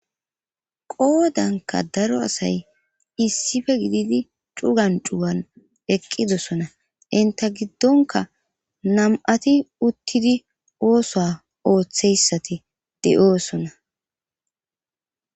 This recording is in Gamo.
qoodanka daro asay issife gididi cugan cugan eqqidosona inta giddonka nam'ati uttidi oosoa ooththeyssati de'oosona